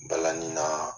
Balani na